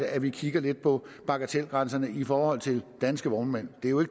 at vi kigger lidt på bagatelgrænserne i forhold til danske vognmænd det er jo